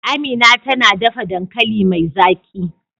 Amina tana dafa dankali mai zaki.